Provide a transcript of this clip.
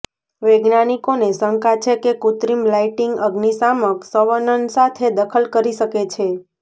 વૈજ્ઞાનિકોને શંકા છે કે કૃત્રિમ લાઇટિંગ અગ્નિશામક સંવનન સાથે દખલ કરી શકે છે